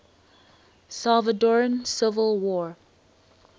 salvadoran civil war